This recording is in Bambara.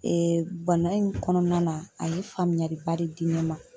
bana in kɔnɔna na, a ye faamuyali ba de di ne ma.